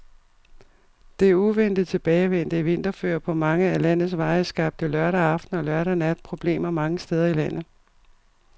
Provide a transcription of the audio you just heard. Det uventet tilbagevendte vinterføre på mange af landets veje skabte lørdag aften og lørdag nat problemer mange steder i landet.